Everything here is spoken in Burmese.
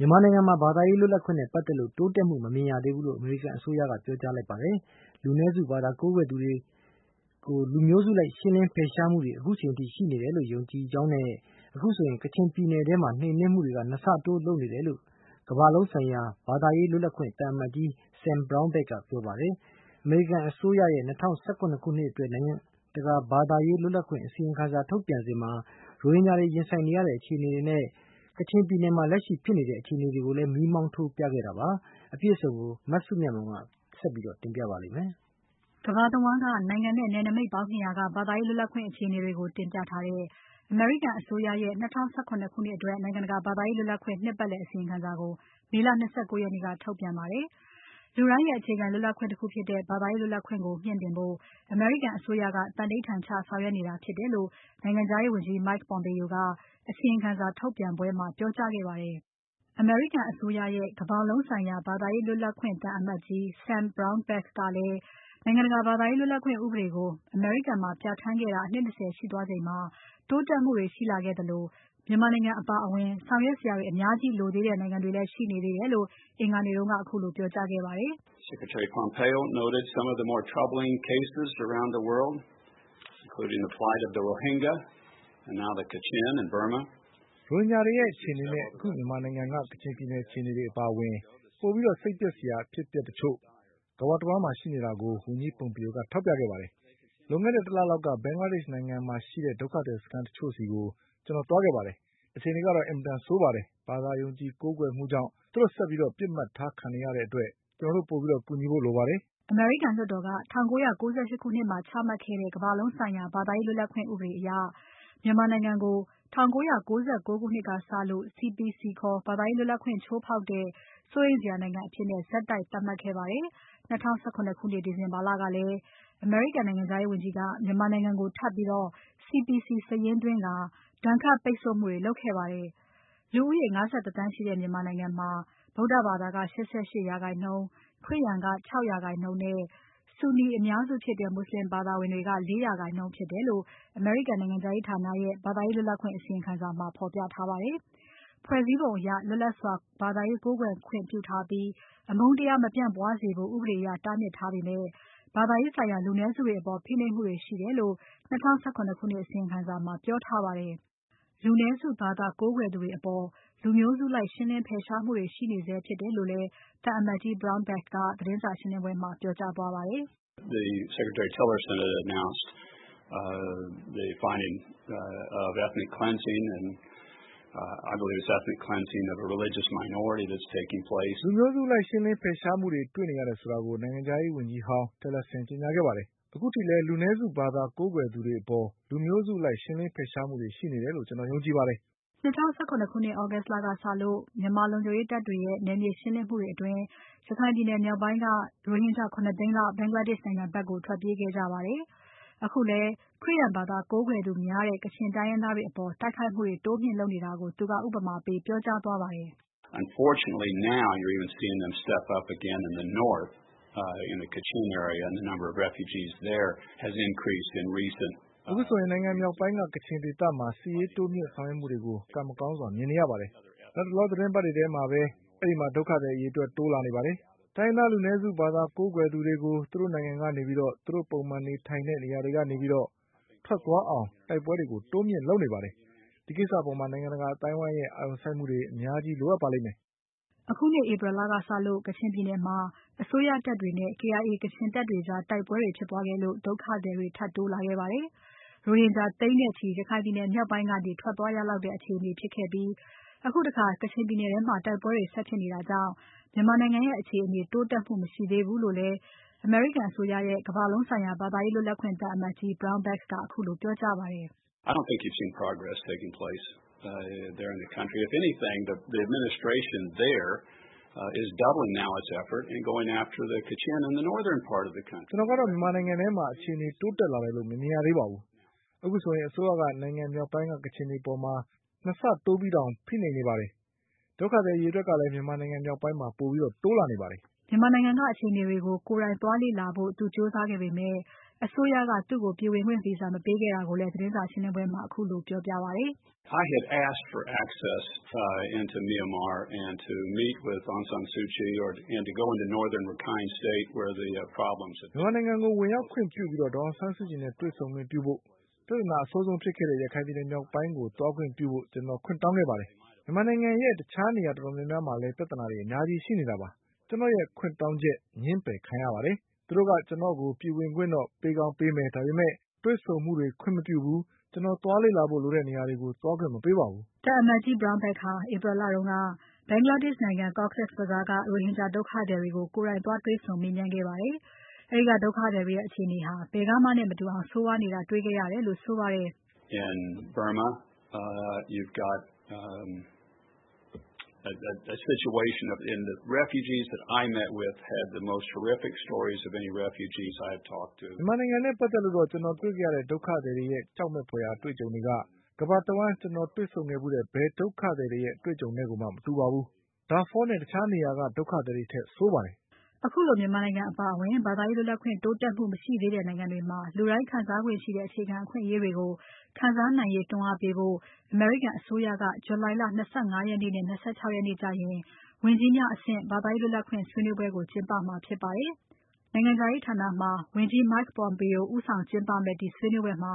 မြန်မာနိုင်ငံမှာ ဘာသာရေးလွတ်လပ်ခွင့်နဲ့ပတ်သက်လို့ တိုးတက်မှုမမြင်ရသေးဘူးလို့ အမေရိကန်အစိုးရက ပြောကြားလိုက်ပါတယ်။ လူနည်းစုဘာသာကိုးကွယ်သူတွေကို လူမျိုးစုလိုက် ရှင်းလင်းဖယ်ရှားမှုတွေ ခုချိန်ထိရှိနေတယ်လို့ ယုံကြည်ကြောင်းနဲ့ အခုဆိုရင် ကချင်ပြည်နယ်ထဲမှာ နှိမ်နှင်းမှုတွေကို ၂ ဆတိုးလုပ်နေတယ်လို့ ကမ္ဘာလုံးဆိုင်ရာ ဘာသာရေးလွတ်လပ်ခွင့် သံအမတ်ကြီး Sam Brownback ကပြောကြားပါတယ်။ အမေရိကန်အစိုးရရဲ့ ၂၀၁၇ ခုနှစ်အတွက် နိုင်ငံတကာ ဘာသာရေးလွတ်လပ်ခွင့်အစီရင်ခံစာ ထုတ်ပြန်စဉ်မှာ ရိုဟင်ဂျာတွေရင်ဆိုင်နေရတဲ့ အခြေအနေနဲ့ ကချင်ပြည်နယ်ထဲမှာ လက်ရှိဖြစ်နေတဲ့အခြေအနေတွေကိုလည်း မီးမောင်းထိုးပြခဲ့တာဖြစ်ပါတယ်။ အပြည့်အစုံကို မစုမြတ်မွန်က ဆက်ပြီးတင်ပြပါမယ်။ ကမ္ဘာတဝန်းက နိုင်ငံနဲ့ နယ်နမိတ်ပေါင်း ၂၀၀ က ဘာသာရေးလွတ်လပ်ခွင့်အခြေအနေတွေကို တင်ပြထားတဲ့ အမေရိကန်အစိုးရရဲ့ ၂၀၁၇ ခုနှစ်အတွက် နိုင်ငံတကာဘာသာရေးလွတ်လပ်ခွင့် နှစ်ပတ်လည်အစီရင်ခံစာကို မေလ ၂၉ ရက်နေ့က ထုတ်ပြန်ပါတယ်။ လူတိုင်းရဲ့ အခြေခံလွတ်လပ်ခွင့်တခုဖြစ်တဲ့ ဘာသာရေးလွတ်လပ်ခွင့်ကိုမြှင့်တင်ဖို့ အမေရိကန်အစိုးရက သန္နိဋ္ဌာန်ချဆောင်ရွက်နေတာဖြစ်တယ်လို့ နိုင်ငံခြားရေးဝန်ကြီး Mike Pompeo က အစီရင်ခံစာထုတ်ပြန်ပွဲမှာ ပြောကြားခဲ့ပါတယ်။ အမေရိကန်အစိုးရရဲ့ ကမ္ဘာလုံးဆိုင်ရာ ဘာသာရေးလွတ်လပ်ခွင့် သံအမတ်ကြီး Sam Brownback ကလည်း နိုင်ငံတကာဘာသာရေးလွတ်လပ်ခွင့်ဥပဒေကို အမေရိကန်မှာ ပြဌာန်းခဲ့တာ အနှစ် ၂၀ ရှိသွားချိန်မှာ တိုးတက်မှုတွေရှိလာခဲ့သလို မြန်မာနိုင်ငံအပါအဝင် ဆောင်ရွက်စရာတွေအများကြီးလိုသေးတဲ့နိုင်ငံတွေလည်း ရှိနေသေးတယ်လို့ အင်္ဂါနေ့က ခုလို ပြောကြားခဲ့ပါတယ်။ "ရိုဟင်ဂျာတွေရဲ့ အခြေအနနဲ့ အခု မြန်မာနိုင်ငံက ကချင်ပြည်နယ်အခြေအနေအပါအဝင် ပိုပြီးစိတ်ပျက်စရာအဖြစ်အပျက်တချို့ တကမ္ဘာတဝန်းမှာရှိနေတာကို ဝန်ကြီး Pompeo ထောက်ပြခဲ့ပါတယ်။ လွန်ခဲ့တဲ့ ၁ လလောက်က Bangladesh နိုင်ငံမှာရှိတဲ့ ဒုက္ခသည်စခန်းတချို့ဆီကို ကျွန်တော်သွားခဲ့ပါတယ်။ အခြေအနေဟာ အင်မတန်ဆိုးပါတယ်။ ဘာသာယုံကြည်ကိုးကွယ်မှုကြောင့် သူတို့ဆက်ပြီးပစ်မှတ်ထားခံနေရတဲ့အတွက် ကျွန်တော်တို့ပိုပြီးကူညီဖို့လိုပါတယ်။" အမေရိကန်လွှတ်တော်က ၁၉၉၈ ခုနှစ်မှာ ချမှတ်ခဲ့တဲ့ ကမ္ဘာလုံးဆိုင်ရာ ဘာသာရေးလွတ်လပ်ခွင့်ဥပဒေအရ မြန်မာနိုင်ငံကို ၁၉၉၉ ကစလို့ CPC ခေါ် ဘာသာရေးလွတ်လပ်ခွင့် ချိုးဖောက်တဲ့ စိုးရိမ်စရာနိုင်ငံအဖြစ် ဆက်တိုက် သတ်မှတ်ခဲ့ပါတယ်။ ၂၀၁၇ ခုနှစ် ဒီဇင်ဘာလကလည်း အမေရိကန်နိုင်ငံခြားရေးဝန်ကြီးက မြန်မာနိုင်ငံကို ထပ်ပြီး CPC စာရင်းသွင်းကာ ဒဏ်ခတ်ပိတ်ဆို့မှုတွေလုပ်ခဲ့ပါတယ်။ လူဦးရေ ၅၁ သန်းရှိတဲ့ မြန်မာနိုင်ငံမှာ ဗုဒ္ဓဘာသာက ၈၈% ။ ခရစ်ယာန်က ၆% နဲ့ ဆူနီအများစုဖြစ်တဲ့ မွတ်ဆလင်ဘာသာဝင်တွေက ၄% ဖြစ်တယ်လို့ အမေရိကန်နိုင်ငံခြားရေးဌာနရဲ့ ဘာသာရေးလွတ်လပ်ခွင့်အစီရင်ခံစာမှာ ဖော်ပြထားပါတယ်။ ဖွဲ့စည်းပုံအရ လွတ်လပ်စွာ ဘာသာရေးကိုးကွယ်ခွင့်ပြုထားပြီး အမုန်းတရားမပြန့်ပွားစေဖို့ ဥပဒေအရတားမြစ်ထားပေမဲ့ ဘာသာရေးဆိုင်ရာ လူနည်းစုတွေအပေါ် ဖိနှိပ်မှုတွေရှိတယ်လို့ ၂၀၁၇ ခုနှစ်အစီရင်စာမှာ ပြောထားပါတယ်။ လူနည်းစုဘာသာကိုးကွယ်သူတွေအပေါ် လူမျိုးစုလိုက်ရှင်းလင်းဖယ်ရှားမှုတွေရှိနေဆဲဖြစ်တယ်လို့လည်း သံအမတ်ကြီး Brownback က သတင်းစာရှင်းပွဲမှာ ပြောကြားသွားပါတယ်။ "လူမျိုးစုလိုက်ရှင်းလင်းဖယ်ရှားမှုတွေ တွေ့ရတယ်ဆိုတာကို နိုင်ငံခြားရေးဝန်ကြီးဟောင်း Tilerson ကကြေညာခဲ့ပါတယ်။ အခုထက်ထိလည်း လူနည်းစုဘာသာ ကိုးကွယ်သူတွေအပေါ် လူမျိုးစုလိုက်ရှင်းလင်းဖယ်ရှားမှုတွေ ရှိနေတယ်လို့ ကျွန်တော်ယုံကြည်ပါတယ်။" ၂၀၁၇ August လကစလို့ မြန်မာလုံခြုံရေးတပ်တွေရဲ့ နယ်မြေရှင်းလင်းမှုအတွင်း ရခိုင်မြောက်ပိုင်းက ရိုဟင်ဂျာ ၇ သိန်းလောက် Bangladesh ဖက်ကိုထွက်ပြေးခဲ့ကြပါတယ်။ အခုလည်း ခရစ်ယာန်ဘာသာကိုးကွယ်သူများတဲ့ ကချင်တိုင်းရင်းသားတွေအပေါ် တိုက်ခိုက်မှုတွေတိုးမြှင့်နေတာကို သူက ဥပမာပေးပြောကြားသွားခဲ့ပါတယ်။ "အခုဆိုရင် နိုင်ငံမြောက်ပိုင်းက ကချင်ဒေသမှာ တိုးမြှင့်ဆောင်ရွက်နေတာကို ကံမကောင်းစွာမြင်နေရပါတယ်။ လတ်တလောသီတင်းပတ်တွေထဲမှာပဲ အဲဒီမှာ ဒုက္ခသည်အရေအတွက် တိုးလာပါတယ်။ တိုင်းရင်းသား လူနည်းစုဘာသာကိုးကွယ်သူတွေကို သူတို့နိုင်ငံကနေ၊ သူတို့ပုံမှန်နေထိုင်နေတဲ့ နေရာတွေကနေ၊ ထွက်သွားအောင် တိုက်ပွဲတွေတိုးမြှင့်လုပ်နေပါတယ်။ ဒီကိစ္စအပေါ် နိုင်ငံတကာအသိုင်းအဝိုင်းရဲ့ အာရုံစိုက်မှု အများကြီး လိုအပ်ပါလိမ့်မယ်။" အခုနှစ် April လကစလို့ ကချင်ပြည်နယ်မှာ အစိုးရတပ်တွေနဲ့ KIA ကချင်တပ်တွေကြား တိုက်ပွဲတွေဖြစ်ပွားခဲ့လို့ ဒုက္ခသည်တွေ ထပ်တိုးလာခဲ့ပါတယ်။ ရိုဟင်ဂျာ သိန်းနဲ့ချီ ရခိုင်ပြည်နယ်မြောက်ပိုင်းကနေ ထွက်သွားရလောက်တဲ့ အခြေအနေဖြစ်ခဲ့ပြီး အခုတခါ ကချင်ပြည်နယ်ထဲမှာ တိုက်ပွဲတွေဆက်ဖြစ်နေတာကြောင့် မြန်မာနိုင်ငံရဲ့ အခြေအနေတိုးတက်မှုမရှိသေးဘူလို့လည်း အမေရိကန်အစိုးရရဲ့ ကမ္ဘာလုံးဆိုင်ရာ ဘာသာရေးလွတ်လပ်ခွင့် သံအမတ်ကြီး Brownback ခုလို ပြောကြားခဲ့ပါတယ်။ "ကျွန်တော်ကတော့ မြန်မာနိုင်ငံထဲမှာ အခြေအနေတိုးတက်လာတယ်လို့ မမြင်ရသေးပါဘူး။ အခုဆိုရင် အစိုးရက နိုင်ငံမြောက်ပိုင်းက ကချင်တွေအပေါ် ၂ ဆတိုးပြီးတောင် ဖိနှိပ်နေပါတယ်။ ဒုက္ခသည်အရေအတွက်ကလည်း မြန်မာနိုင်ငံမြောက်ပိုင်းမှာ ပိုတိုးနေပါတယ်။" မြန်မာနိုင်ငံက အခြေအနေတွေကို ကိုယ်တိုင်သွားလေ့လာဖို့ကြိုးစားခဲ့ပေမဲ့ အစိုးရက သူ့ကို ပြည်ဝင်ခွင့် Visa မပေးခဲ့တာကိုလည်း သတင်းစာရှင်းပွဲမှာ ခုလိုပြောပြခဲ့ပါတယ်။ "မြန်မာနိုင်ငံကို ဝင်ရောက်ခွင့်ပြုပြီး ဒေါ်အောင်ဆန်းစုကြည်နဲ့ တွေ့ဆုံခွင့်ပြုဖို့ ပြဿနာအဆိုးဆုံးဖြစ်ခဲ့တဲ့ ရခိုင်ပြည်နယ်မြောက်ပိုင်းကို သွားခွင့်ပြုဖို့ ကျွန်တော်ခွင့်တောင်းခဲ့ပါတယ်။ မြန်မာနိုင်ငံရဲ့ တခြားနေရာတော်တော်များများမှာလည်း ပြဿနာတွေ အများကြီးရှိနေတာပါ။ ကျွန်တော်ရဲ့ခွင့်တောင်းချက် ငြင်းပယ်ခံရပါတယ်။ သူတို့က ကျွန်တော့်ကို ပြည်ဝင်ခွင့်တော့ ပေးကောင်းပေးမယ်။ ဒါပေမဲ့ တွေ့ဆုံမှုတွေ ခွင့်မပြုဘူး။ ကျွန်တော် သွားလေ့လာဖို့လိုတဲ့နေရာတွေကို သွားခွင့်မပေးပါဘူး။" သံအမတ်ကြီး Brownback ဟာ April လတုန်းက Bangladesh နိုင်ငံ Cox’s Bazar က ရိုဟင်ဂျာ ဒုက္ခသည်တွေကို ကိုယ်တိုင်သွားတွေ့ဆုံ မေးမြန်းခဲ့ပါတယ်။ အဲဒီက ဒုက္ခသည်တွေ အခြေအနေတွေဟာ ဘယ်ကမှနဲ့ မတူအောင်ကို ဆိုးဝါးနေတာကို တေ့ွခဲ့ရတယ်လို့ဆိုပါတယ်။ "မြန်မာနိုင်ငံနဲ့ပတ်သက်လို့တော့ ကျွန်တော်တွေ့ခဲ့ရတဲ့ ဒုက္ခသည်တွေရဲ့ ကြောက်မယ်ဖွယ်အတွေ့အကြုံတွေက ကမ္ဘာတဝန်းကျွန်တော်တွေ့ဆုံခဲ့ဖူးတဲ့ ဘယ်ဒုက္ခသည်ရဲ့ အတေ့ွအကြုံနဲ့မှကို မတူပါဘူး။ Darfur နဲ့တခြားနေရာက ဒုက္ခသည်တွေထက်ဆိုးပါတယ်။" ခုလိုမြန်မာနိုင်ငံအပါအဝင် ဘာသာရေးလွတ်လပ်ခွင့်တိုးတက်မှုမရှိသေးတဲ့နိုင်ငံတွေမှာ လူတိုင်းခံစားခွင့်ရှိတဲ့အခြေခံအခွင့်အရေးတွေကို ခံစားနိုင်ရေးတွန်းအားပေးဖို့အတွက် အမေရိကန်အစိုးရက ဇူလိုင်လ ၂၅ ရက်နဲ့ ၂၆ ရက်နေ့ကျရင် ဝန်ကြီးများအဆင့် ဘာသာရေးလွတ်လပ်ခွင့်ဆွေးနွေးပွဲကို ကျင်းပမှာဖြစ်ပါတယ်။ နိုင်ငံခြားရေးဌာနမှာ ဝန်ကြီး Mike Pompeo ဦးဆောင်ကျင်းပမယ့် ဒီဆွေးနွေးပွဲမှာ